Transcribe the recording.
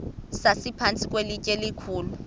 sasiphantsi kwelitye elikhulu